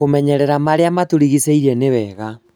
kũmenyerera marĩa matũrigicĩĩrie nĩ wega